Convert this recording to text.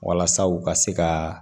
Walasa u ka se ka